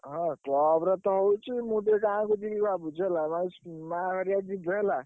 ହଁ club ରେ ତ ହଉଛି। ମୁଁ ଟିକେ ଗାଁକୁ ଯିବି ଭାବୁଛି ହେଲା ଉଁ ମାଆ ହରିଆ ଯିବେ ହେଲା।